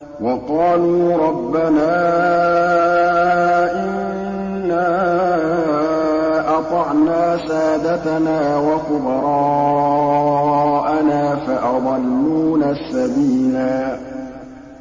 وَقَالُوا رَبَّنَا إِنَّا أَطَعْنَا سَادَتَنَا وَكُبَرَاءَنَا فَأَضَلُّونَا السَّبِيلَا